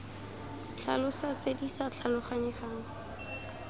tlhalosa tse di sa tlhaloganyegang